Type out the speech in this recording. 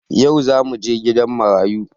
Yau zamuje gidan marayu